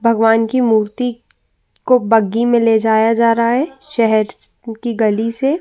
भगवान की मूर्ति को बग्गी में ले जाया जा रहा है। शहर स की गली से।